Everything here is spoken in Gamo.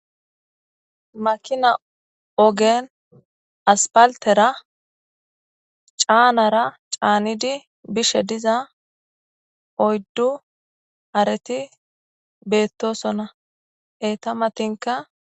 Makina ogen aspaltera caanara caanidi bishe diza oyddu areti beettosona eta matinka.